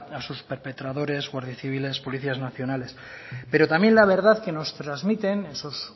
a sus perpetradores guardias civiles policías nacionales pero también la verdad que nos transmiten esos